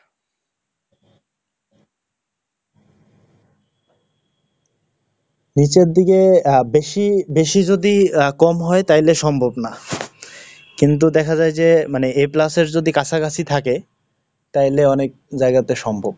নীচের দিকে আহ বেশি, বেশি যদি আহ কম হয় তাইলে সম্ভব না। কিন্তু দেখা যায় যে মানে a plus এর যদি কাছাকাছি থাকে তাহলে অনেক জায়গাতে সম্ভব।